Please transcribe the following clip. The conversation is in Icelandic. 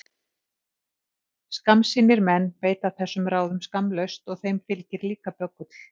Skammsýnir menn beita þessum ráðum skammlaust og þeim fylgir líka böggull.